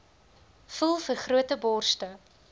voel vergrote borste